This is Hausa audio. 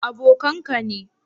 Abokan ka ne?